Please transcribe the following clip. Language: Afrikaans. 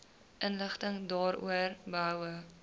inligting daaroor behoue